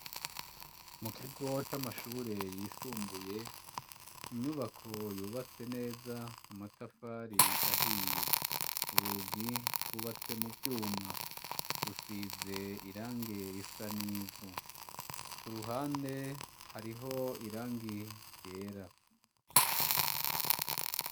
Mu kigo c'amashure yisumbuye inyubako yubatse neza, amatafari ahiye urugi rwubatse mu vyuma, rusize irangi risa n'ivu, ku ruhande hariho irangi ryera.